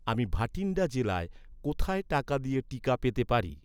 আমি ভাটিন্ডা জেলায়, কোথায় টাকা দিয়ে টিকা পেতে পারি?